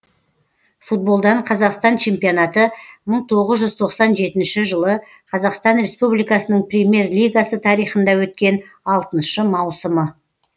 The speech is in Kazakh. футболдан қазақстан чемпионаты мың тоғыз жүз тоқсан жетінші жылы қазақстан республикасының премьер лигасы тарихында өткен алтыншы маусымы